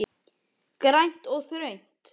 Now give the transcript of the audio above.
Grænt og þröngt.